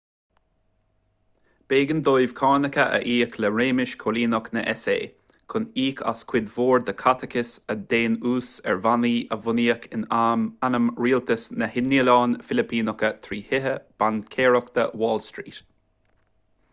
b'éigean dóibh cánacha a íoc le réimeas coilíneach na s.a. chun íoc as cuid mhór den chaiteachas agus den ús ar bhannaí a bunaíodh in ainm rialtas na noileán filipíneach trí thithe baincéireachta wall street